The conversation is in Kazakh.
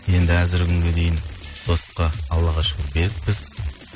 енді әзіргі күнге дейін достыққа аллаға шүкір берікпіз